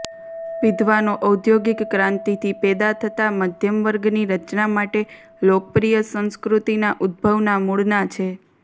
વિદ્વાનો ઔદ્યોગિક ક્રાંતિથી પેદા થતા મધ્યમ વર્ગની રચના માટે લોકપ્રિય સંસ્કૃતિના ઉદભવના મૂળના છે